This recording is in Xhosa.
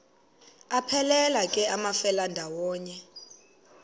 aphelela ke amafelandawonye